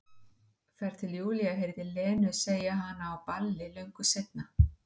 Þar til Júlía heyrði Lenu segja hana á balli löngu seinna.